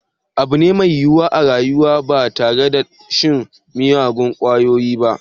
Eh abu ne mai yiwuwa a rayuwa ba tare da shan miyagun kwayoyi ba